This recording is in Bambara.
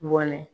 Bɔnɛ